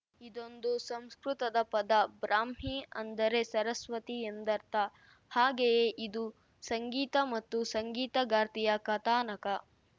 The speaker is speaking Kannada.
ಇದೊಂದು ಸಂಸ್ಕೃತದ ಪದ ಬ್ರಾಹ್ಮಿ ಅಂದ್ರೆ ಸರಸ್ವತಿ ಎಂದರ್ಥ ಹಾಗಯೇ ಇದು ಸಂಗೀತ ಮತ್ತು ಸಂಗೀತಗಾರ್ತಿಯ ಕಥಾನಕ